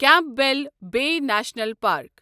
Campbell Bay National park